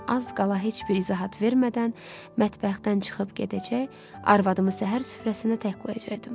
Az qala heç bir izahat vermədən mətbəxdən çıxıb gedəcək, arvadımı səhər süfrəsində tək qoyacaqdım.